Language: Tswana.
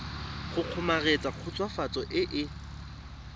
go kgomaretsa khutswafatso e e